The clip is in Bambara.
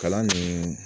Kalan nin